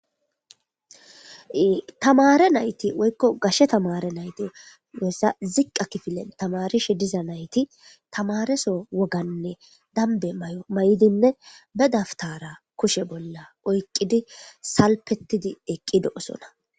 Tamare nayti woykko gashe tamare nayte wessa ziqqa kifilen tamarishe diza nayti tamareso woganne danbe may'o may'dinne be daftara kushe bolla oyqqidi salpettidi eqqi do'osona.